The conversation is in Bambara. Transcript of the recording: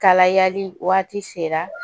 Kalayali waati sera